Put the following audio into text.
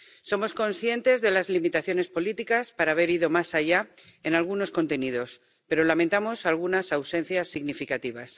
Somos conscientes de las limitaciones políticas para haber ido más allá en algunos contenidos, pero lamentamos algunas ausencias significativas.